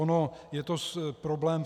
Ono je to problém.